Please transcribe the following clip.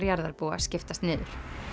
jarðarbúa skiptast niður